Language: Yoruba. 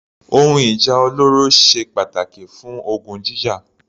Ohun ìjà olóró ṣe pàtàkì fún ogun jíjà.